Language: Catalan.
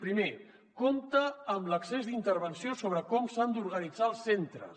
primer compte amb l’excés d’intervenció sobre com s’han d’organitzar els centres